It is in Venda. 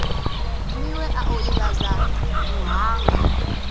miwe a o ivhadza muhanga